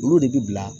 Olu de bi bila